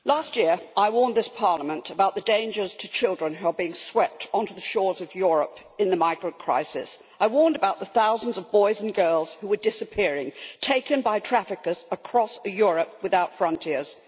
Mr President, last year I warned this Parliament about the dangers to children who are being swept onto the shores of Europe in the migrant crisis. I warned about the thousands of boys and girls who were disappearing, taken by traffickers across a Europe without frontiers.